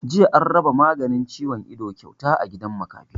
Jiya an raba maganin ciwon ido kyauta a gidan makafi